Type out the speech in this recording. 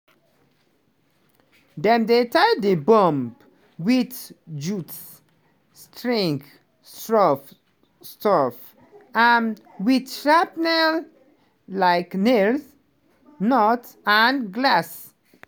dem dey tie di bomb wit jute strings stuff stuff am wit shrapnel-like nails nuts and glass.